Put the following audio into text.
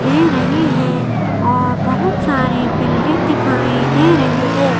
दे रही है और बहुत सारे बिल्डिंग दिखाई दे रही हैं।